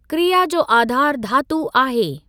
क्रिया जो आधारु धातू आहे।